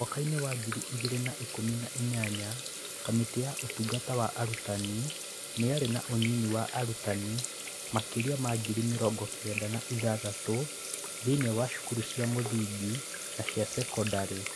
Mwaka-inĩ wa ngiri igĩrĩ na ikũmi na inyanya, Kamĩtĩ ya Ũtungata wa Arutani nĩ yarĩ na ũnyinyi wa arutani makĩria ma ngiri mĩrongo kenda na ithathatũ thĩinĩ wa thukuru cia mũthingi na cia sekondarĩ.